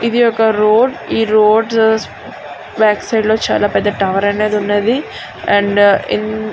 ఇది ఒక రోడ్ . ఈ రోడ్ బ్యాక్ సైడ్ ఒక పెద్ద టవర్ అనేది ఉన్నది.